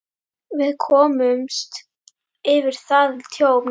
Við komumst yfir það tjón.